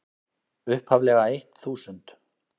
upphaflega eitt þúsund.